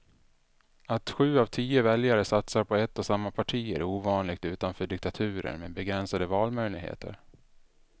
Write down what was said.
Att sju av tio väljare satsar på ett och samma parti är ovanligt utanför diktaturer med begränsade valmöjligheter.